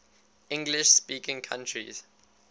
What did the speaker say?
english speaking countries